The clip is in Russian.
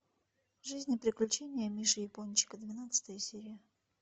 жизнь и приключения миши япончика двенадцатая серия